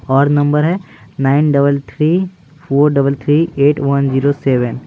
और नंबर है --